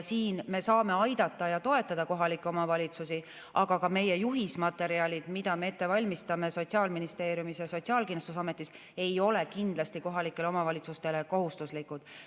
Siin me saame aidata ja toetada kohalikke omavalitsusi, aga ka meie juhismaterjalid, mida me ette valmistame Sotsiaalministeeriumis ja Sotsiaalkindlustusametis, ei ole kindlasti kohalikele omavalitsustele kohustuslikud.